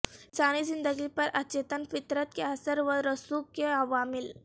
انسانی زندگی پر اچیتن فطرت کے اثر و رسوخ کے عوامل